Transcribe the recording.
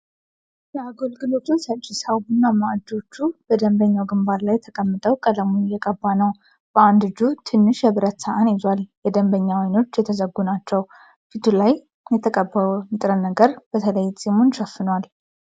የአገልግሎቱ ሰጪ ሰው ቡናማ እጆቹ በደንበኛው ግንባር ላይ ተቀምጠው ቀለሙን እየቀባ ነው። በአንድ እጁ ትንሽ የብረት ሳህን ይዟል። የደንበኛው ዓይኖች የተዘጉ ናቸው። ፊቱ ላይ የሚቀባው ንጥረ ነገር በተለይ ጺሙን ሸፍኗል።